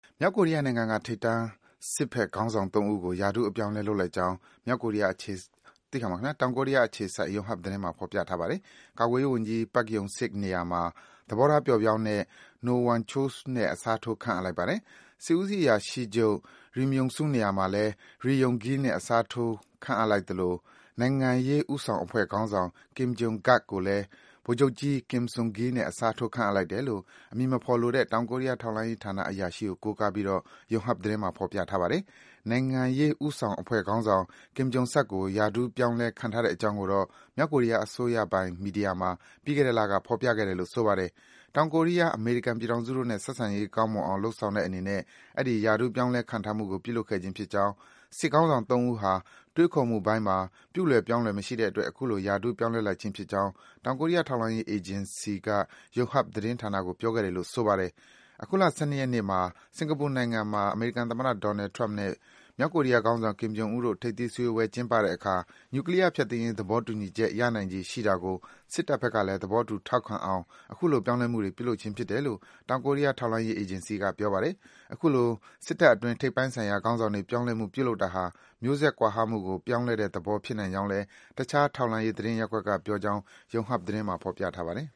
မြောက်ကိုရီးယားနိုင်ငံက ထိပ်တန်း စစ်ဘက်ခေါင်းဆောင် ၃ ဦးကို ရာထူးအပြောင်းအလဲ လုပ်လိုက်ကြောင်း တောင်ကိုရီးယားအခြေစိုက် Yonhap သတင်းမှာ ဖော်ပြထားပါတယ်။ ကာကွယ်ရေးဝန်ကြီး Pak Yong Sik နေရာမှာ သဘောထားပျော့ပြောင်းတဲ့ No Kwang Chol နဲ့ အစားထိုး ခန့်အပ်လိုက်ပါတယ်။ စစ်ဦးစီးအရာရှိချုပ် Ri Myong Su နေရာမှာလည်း Ri Yong Gil နဲ့ အစားထိုးလိုက်သလို နိုင်ငံရေးဦးဆောင်အဖွဲ့ခေါင်းဆောင် Kim Jong Gak ကိုလည်း ဗိုလ်ချုပ်ကြီး Kim Su Gil နဲ့ အစားထိုး ခန့်အပ်လိုက်တယ်လို့ အမည်မဖော်လိုတဲ့ တောင်ကိုရီးယား ထောက်လှမ်းရေးဌာက အရာရှိကို ကိုးကားပြီး Yonhap သတင်းမှာ ဖော်ပြထားပါတယ်။ နိုင်ငံရေးဦးဆောင်အဖွဲ့ခေါင်းဆောင် Kim Jong Gak ကို ရာထူး ပြောင်းလဲ ခန့်ထားတဲ့အကြောင်းကိုတော့ မြောက်ကိုရီးယား အစိုးရပိုင် မီဒီယာမှာ ပြီးခဲ့တဲ့လက ဖော်ပြခဲ့တယ်လို့ ဆိုပါတယ်။ တောင်ကိုရီးယား၊ အမေရိကန်ပြည်ထောင်စုတို့နဲ့ ဆက်ဆံရေး ကောင်းမွန်အောင် လုပ်ဆောင်တဲ့အနေနဲ့ အဲဒီရာထူး ပြောင်းလဲ ခန့်ထားမှုတွေကို ပြုလုပ်ခဲ့ခြင်းဖြစ်ကြောင်း၊ စစ်ခေါင်းဆောင် ၃ ဦးဟာ တွေးခေါ်မှုပိုင်းမှာ ပြုလွယ် ပြောင်းလွယ် မရှိတဲ့အတွက် အခုလို ရာထူး ပြောင်းလဲလိုက်ခြင်းဖြစ်ကြောင်း တောင်ကိုရီးယား ထောက်လှမ်းရေးအေဂျင်စီက Yonhap သတင်းဌာနကို ပြောခဲ့တယ်လို့ ဆိုပါတယ်။ အခုလ ၁၂ ရက်နေ့မှာ စင်္ကာပူနိုင်ငံမှာ အမေရိကန်သမ္မတ Donald Trump နဲ့ မြောက်ကိုရီးယား ခေါင်းဆောင် Kim Jong Un တို့ ထိပ်သီး စည်းဝေးပွဲကျင်းပတဲ့အခါ နြူကလီးယား ဖျက်သိမ်းရေး သဘောတူညီချက် ရနိုင်ခြေရှိတာကို စစ်တပ်ဘက်ကလည်း သဘောတူ ထောက်ခံအောင် အခုလို ပြောင်းလဲမှုတွေ ပြုလုပ်ခြင်းဖြစ်တယ်လို့ တောင်ကိုရီးယား ထောက်လှမ်းရေး အေဂျင်စီက ပြောပါတယ်။ အခုလို စစ်တပ်အတွင်း ထိပ်ပိုင်းဆိုင်ရာ ခေါင်းဆောင်တွေ ပြောင်းလဲမှု ပြုလုပ်တာဟာ မျိုးဆက် ကွာဟမှုကို ပြောင်းလဲတဲ့သဘော ဖြစ်နိုင်ကြောင်းလည်း တခြား ထောက်လှမ်းရေး သတင်းရပ်ကွက်က ပြောကြောင်း Yonhap သတင်းမှာ ဖော်ပြထားပါတယ်